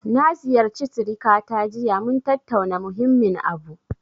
Na ziyarci sirikata jiya, mun tattauna muhimmin abu.